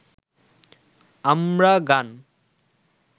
আমরা গান